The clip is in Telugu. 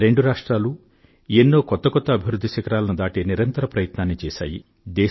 రెండు రాష్ట్రాలూ ఎన్నో కొత్త కొత్త అభివృధ్ధి శిఖరాలను దాటే నిరంతర ప్రయత్నాన్ని చేసాయి